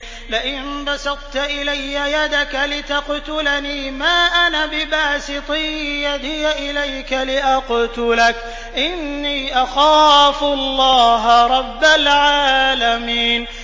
لَئِن بَسَطتَ إِلَيَّ يَدَكَ لِتَقْتُلَنِي مَا أَنَا بِبَاسِطٍ يَدِيَ إِلَيْكَ لِأَقْتُلَكَ ۖ إِنِّي أَخَافُ اللَّهَ رَبَّ الْعَالَمِينَ